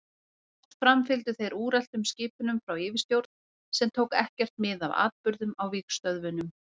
Oft framfylgdu þeir úreltum skipunum frá yfirstjórn sem tók ekkert mið af atburðum á vígstöðvunum.